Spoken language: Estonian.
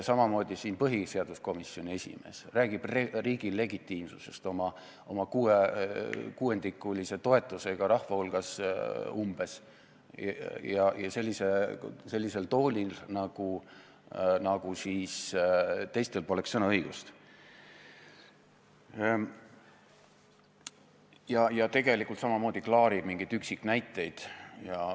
Samamoodi põhiseaduskomisjoni esimees räägib riigi legitiimsusest oma kuuendikulise toetusega rahva hulgas umbes sellisel toonil, nagu teistel poleks sõnaõigust, aga tegelikult samamoodi klaarib mingeid üksiknäiteid.